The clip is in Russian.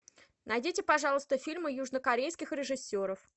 найдите пожалуйста фильмы южнокорейских режиссеров